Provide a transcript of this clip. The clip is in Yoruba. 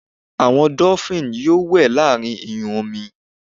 àwọn dolphin yíò we láàrín iyun omi